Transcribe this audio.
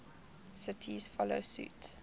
cities follow suit